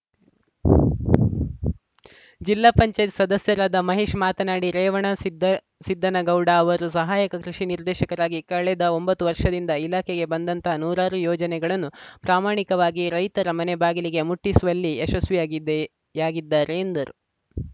ಜಿಲ್ಲಾ ಪಂಚಾಯತ್ ಸದಸ್ಯರಾದ ಮಹೇಶ್‌ ಮಾತನಾಡಿ ರೇವಣ ಸಿದ್ದ ಸಿದ್ದನಗೌಡ ಅವರು ಸಹಾಯಕ ಕೃಷಿ ನಿರ್ದೇಶಕರಾಗಿ ಕಳೆದ ಒಂಬತ್ತು ವರ್ಷದಿಂದ ಇಲಾಖೆಗೆ ಬಂದಂತಹ ನೂರಾರು ಯೋಜನೆಗಳನ್ನು ಪ್ರಾಮಣಿಕವಾಗಿ ರೈತರ ಮನೆ ಬಾಗಿಲಿಗೆ ಮುಟ್ಟಿಸುವಲ್ಲಿ ಯಶಸ್ವಿಯಾಗಿವೆ ಯಾಗಿದ್ದಾರೆ ಎಂದರು